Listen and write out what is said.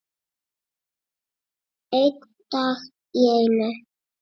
Einn dag í einu.